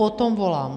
Po tom volám.